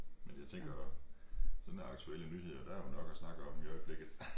Men jeg tænker sådan aktuelle nyheder der er jo nok at snakke om i øjeblikket